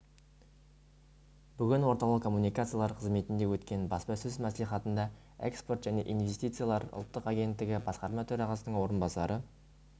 бүгін орталық коммуникациялар қызметінде өткен баспасөз мәслихатында экспорт және инвестициялар ұлттық агенттігі басқарма төрағасының орынбасары